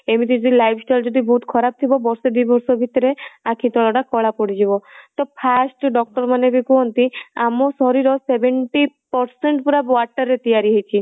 ଏମିତି ଯଦି lifestyle ବହୁତ ଖରାପ ଥିବ ବର୍ଷେ ଦି ବର୍ଷ ଭିତରେ ଆଖି ତଳ ଟା କଳା ପଡିଯିବ ତ first doctor ମାନେ ବି କୁହନ୍ତି ଆମ ଶରୀର seventy percent ପୁରା water ରେ ତିଆରି ହେଇଚି